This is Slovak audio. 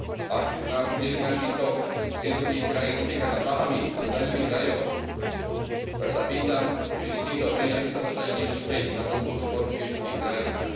Ak nám bude finančný tok z jednotlivých krajín utekať na Bahamy a do daňových rajov, tak sa pýtam, či z týchto peňazí sa dostane niečo späť na podporu športu v jednotlivých krajinách.